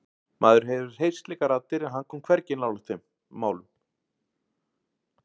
Maður hefur heyrt slíkar raddir en hann kom hvergi nálægt þeim málum.